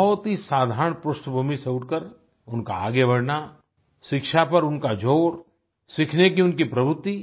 बहुत ही साधारण पृष्ठभूमि से उठकर उनका आगे बढ़ना शिक्षा पर उनका जोर सीखने की उनकी प्रवृत्ति